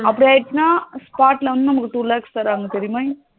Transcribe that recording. அப்படி ஆயிடுச்சுன்னா spot ல வந்து நமக்கு two lakes தராங்க தெரியுமா